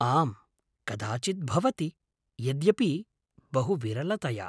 आम्, कदाचित् भवति, यद्यपि बहु विरलतया।